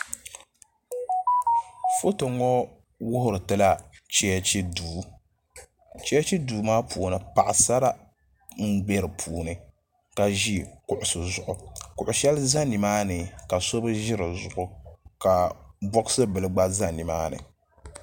Foto ŋɔ wuhiri ti la cheechi duu cheechi duu maa puuni paɣisara m-be di puuni ka ʒi kuɣusi zuɣu ka kuɣ' shɛli za nimaani ka so bi ʒi di zuɣu ka bɔɣisi bila gba za nimaani.